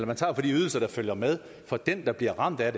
man tager fra de ydelser der følger med for den der bliver ramt af